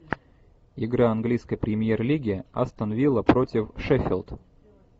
игра английской премьер лиги астон вилла против шеффилд